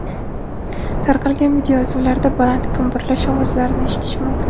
Tarqalgan videoyozuvlarda baland gumburlash ovozlarini eshitish mumkin.